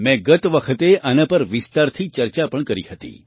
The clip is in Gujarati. મેં ગત વખતે આના પર વિસ્તારથી ચર્ચા પણ કરી હતી